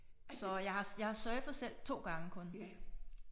Så jeg har jeg har surfet selv 2 gange kun